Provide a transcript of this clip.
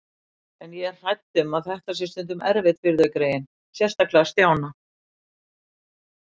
En ég er hrædd um að þetta sé stundum erfitt fyrir þau greyin, sérstaklega Stjána